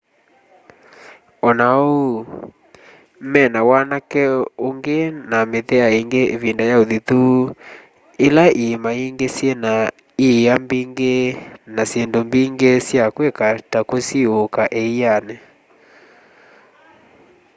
ona ou mena wanake ungi na mĩthea ingi ivinda ya uthithu ila iima ingi syina ĩa mbingi na syindu mbingi sya kwika ta kũsiũũka ĩanĩ